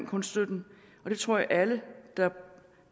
kunststøtten og det tror jeg at alle der